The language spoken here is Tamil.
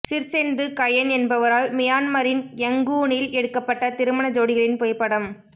சிர்சென்து கயென் என்பவரால் மியான்மரின் யங்கூனில் எடுக்கப்பட்ட திருமண ஜோடிகளின் புகைப்படம்